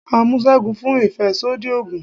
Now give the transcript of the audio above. à mú según fún ìfẹsodi oogùn